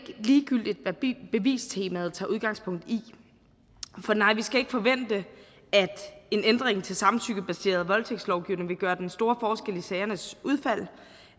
ligegyldigt hvad bevistemaet tager udgangspunkt i nej vi skal ikke forvente at en ændring til samtykkebaseret voldtægtslovgivning vil gøre den store forskel i sagernes udfald